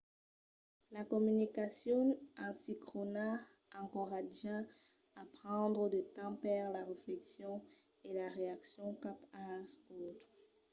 la comunicacion asincròna encoratja a prendre de temps per la refleccion e la reaccion cap als autres